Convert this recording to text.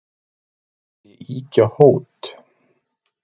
Ekki vil ég ýkja hót,